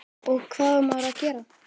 og hvað á maður að gera?